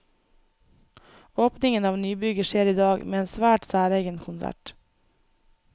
Åpningen av nybygget skjer i dag, med en svært særegen konsert.